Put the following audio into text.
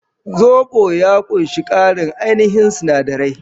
Zobo ya ƙunshi ƙarin ainihin sinadirai.